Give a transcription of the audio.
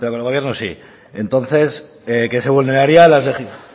pero con el gobierno sí entonces que se vulnerarían